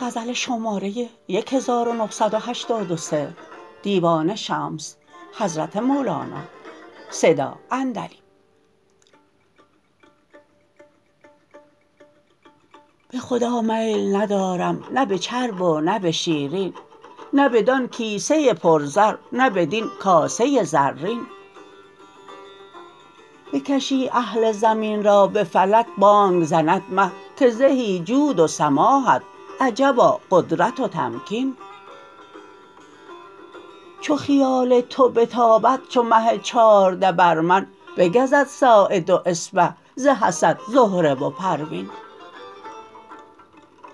به خدا میل ندارم نه به چرب و نه به شیرین نه بدان کیسه پرزر نه بدین کاسه زرین بکشی اهل زمین را به فلک بانگ زند مه که زهی جود و سماحت عجبا قدرت و تمکین چو خیال تو بتابد چو مه چارده بر من بگزد ساعد و اصبع ز حسد زهره و پروین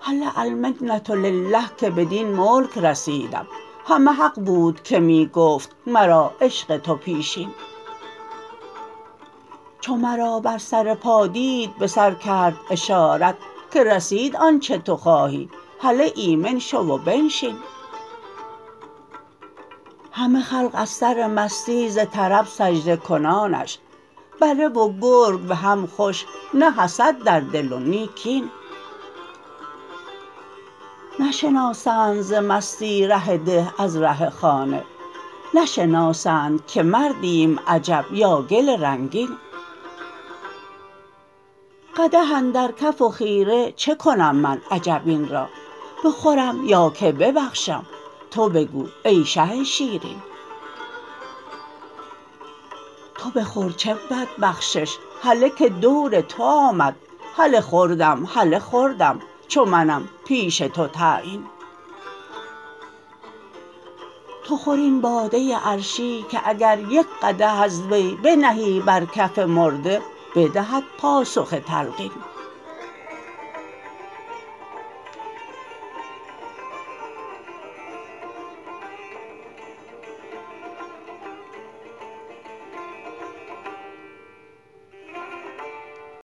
هله المنه لله که بدین ملک رسیدم همه حق بود که می گفت مرا عشق تو پیشین چو مرا بر سر پا دید به سر کرد اشارت که رسید آنچ تو خواهی هله ایمن شو و بنشین همه خلق از سر مستی ز طرب سجده کنانش بره و گرگ به هم خوش نه حسد در دل و نی کین نشناسند ز مستی ره ده از ره خانه نشناسند که مردیم عجب یا گل رنگین قدح اندر کف و خیره چه کنم من عجب این را بخورم یا که ببخشم تو بگو ای شه شیرین تو بخور چه بود بخشش هله که دور تو آمد هله خوردم هله خوردم چو منم پیش تو تعیین تو خور این باده عرشی که اگر یک قدح از وی بنهی بر کف مرده بدهد پاسخ تلقین